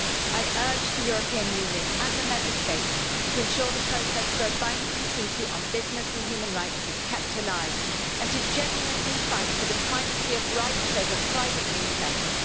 I urge the European Union and the Member States to ensure the process for a binding treaty on business and human rights is kept alive, and to genuinely fight for the primacy of rights over private interests.